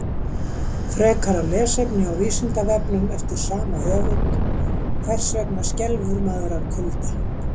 Frekara lesefni á Vísindavefnum eftir sama höfund: Hvers vegna skelfur maður af kulda?